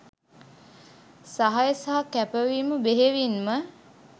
සහාය සහ කැපවීම බෙහෙවින්ම